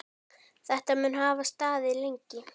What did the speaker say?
Þetta mun hafa staðið lengi.